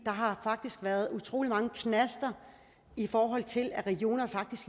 har faktisk været utrolig mange knaster i forhold til at regionerne